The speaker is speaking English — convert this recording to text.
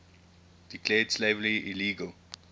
declared slavery illegal